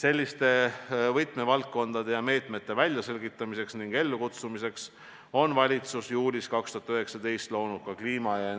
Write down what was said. Selliste võtmevaldkondade ja meetmete väljaselgitamiseks ning meetmete rakendamiseks on valitsus 2019. aasta juulis loonud kliima- ja